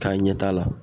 K'a ɲɛ t'a la